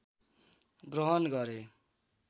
ग्रहण गरे